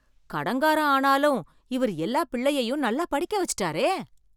கடன்காரன் ஆனாலும் இவர் எல்லா பிள்ளையையும் நல்லா படிக்க வச்சிட்டாரே!